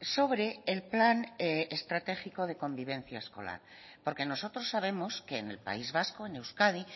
sobre el plan estratégico de convivencia escolar porque nosotros sabemos que en el país vasco en euskadi